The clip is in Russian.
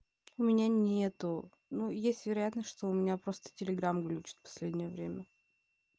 у меня нету ну есть вероятность что у меня просто телеграмм глючит последнее время